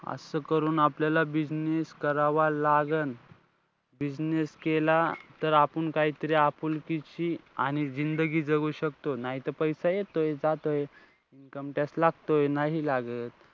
असं करून आपल्याला business करावा लागन. business केला तर आपुन काहीतरी आपुलकीची आणि जिंदगी जगू शकतो. नाही त पैसा येतोय जातोय. Income tax लागतोय, नाही लागत.